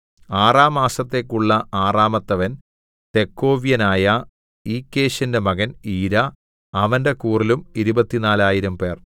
ആറാം മാസത്തേക്കുള്ള ആറാമത്തവൻ തെക്കോവ്യനായ ഇക്കേശിന്റെ മകൻ ഈരാ അവന്റെ കൂറിലും ഇരുപത്തിനാലായിരംപേർ 24000